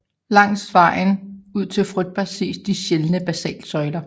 Langs med vejen ud til Froðba ses de sjældne basaltsøjler